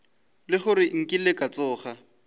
le gore nkile ka tsoga